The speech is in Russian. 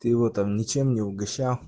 ты его там ничем не угощал